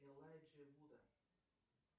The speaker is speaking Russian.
элайджа вуда